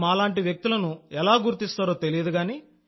మీరు మాలాంటి వ్యక్తులను ఎలా కనుగొంటారో తెలియదు